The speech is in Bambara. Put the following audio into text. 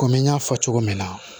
Kɔmi n y'a fɔ cogo min na